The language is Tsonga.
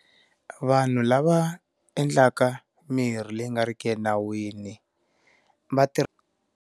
Vanhu lava endlaka mirhi leyi nga ri ki enawini va .